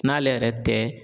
N'ale yɛrɛ tɛ